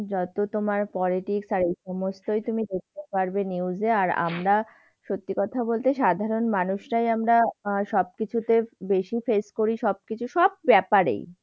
যত তোমার politics আর এই সমস্তই তুমি দেখতে পারবে news এ। আর আমরা, সত্যি কথা বলতে সাধারণ মানুষরাই আমরা আহ সবকিছুতে বেশি face করি সবকিছু, সব ব্যাপারেই।